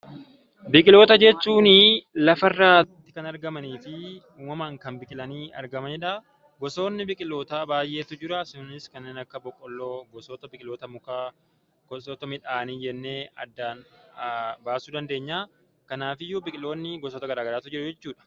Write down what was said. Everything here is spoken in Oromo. Biqiloota jechuun lafarratti kan argamanii fi uumamaan kan biqilanii argamanidha. Gosootni biqiootaa baay'eetu jira. Isaanis kanneen akka boqqolloo, gosoota biqiloota mukaa, gosoota midhaanii jennee addaan baasuu dandeenya. Kanaaf iyyuu biqiloonni gosoota gara garaatu jiruu jechuudha.